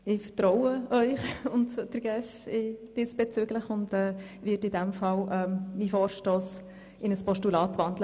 Ich vertraue Ihnen und der GEF diesbezüglich und werde in diesem Vertrauen meinen Vorstoss in ein Postulat wandeln.